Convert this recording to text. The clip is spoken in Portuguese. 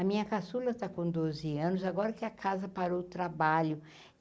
A minha caçula está com doze anos, agora que a casa parou o trabalho.